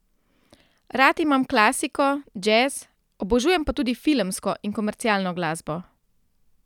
Rad imam klasiko, džez, obožujem pa tudi filmsko in komercialno glasbo.